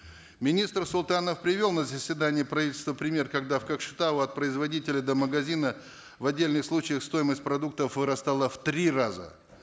министр султанов привел на заседании правительства пример когда в кокшетау от производителя до магазина в отдельных случаях стоимость продуктов вырастала в три раза